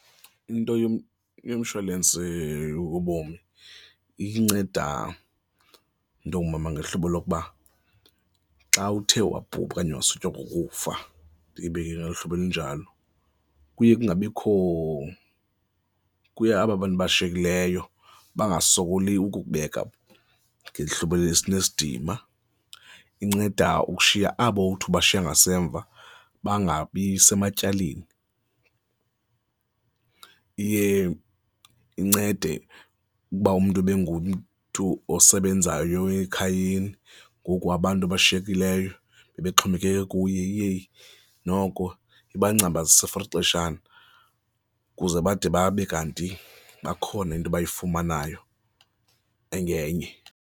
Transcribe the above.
Into yomsholensi yobomi inceda, mntu ongumama, ngehlobo lokuba xa uthe wabhubha okanye wasutywa kukufa, ndiyibeke ngolo hlobo elinjalo, kuye kungabikho, kuye aba bantu abashiyekileyo bangasokoli ukukubeka ngehlobo elinesidima. Inceda ukushiya abo uthi ubashiya ngasemva bangabi sematyaleni. Iye incede ukuba umntu ebengumntu osebenzayo ekhayeni ngoku abantu abashiyekileyo bebexhomekeke kuye, iye noko iba ngcambazise for ixeshana ukuze bade babe kanti bakhona into bayifumanayo engenye.